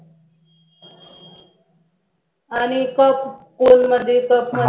आणि कप